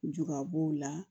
Juga b'o la